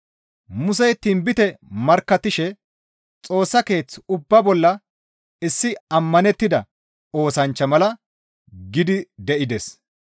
Musey tinbite markkattishe Xoossa Keeth ubba bolla issi ammanettida oosanchcha mala gidi de7ides.